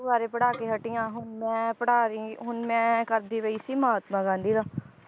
ਬਾਰੇ ਪੜ੍ਹਾ ਕੇ ਹਟੀ ਆ ਹੁਣ ਮੈਂ ਪੜ੍ਹਾ ਰੀ ਹੁਣ ਮੈਂ ਕਰਦੀ ਪਈ ਸੀ ਮਹਾਤਮਾ ਗਾਂਧੀ ਦਾ